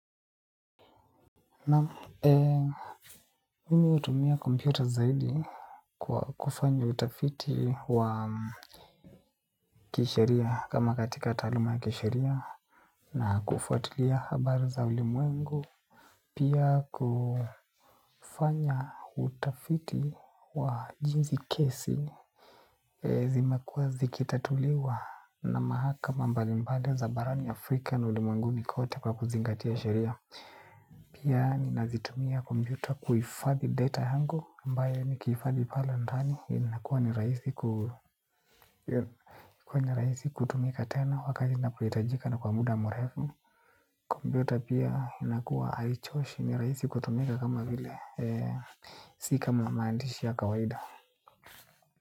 Naam mimi hutumia kompyuta zaidi kwa kufanya utafiti wa kisheria kama katika taaluma ya kisheria na kufuatilia habari za ulimwengu. Pia kufanya utafiti wa jinsi kesi zimekuwa zikitatuliwa na mahakama mbalimbali za barani Afrika na ulimwenguni kote kwa kuzingatia sheria. Pia ninazitumia kompyuta kuhifadhi data yangu ambayo nikihifadhi pale ndani inakuwa ni raisi kutumika tena wakati inapohitajika na kwa muda murefu. Kompyuta pia inakuwa haichoshi ni rahisi kutumika kama vile. Si kama maandishi ya kawaida.